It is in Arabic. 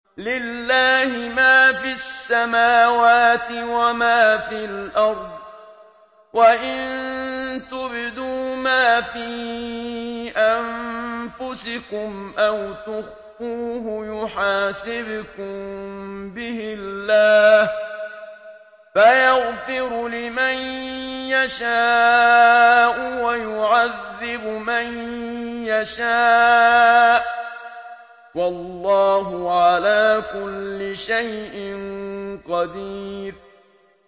لِّلَّهِ مَا فِي السَّمَاوَاتِ وَمَا فِي الْأَرْضِ ۗ وَإِن تُبْدُوا مَا فِي أَنفُسِكُمْ أَوْ تُخْفُوهُ يُحَاسِبْكُم بِهِ اللَّهُ ۖ فَيَغْفِرُ لِمَن يَشَاءُ وَيُعَذِّبُ مَن يَشَاءُ ۗ وَاللَّهُ عَلَىٰ كُلِّ شَيْءٍ قَدِيرٌ